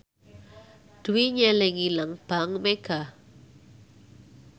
Dwi nyelengi nang bank mega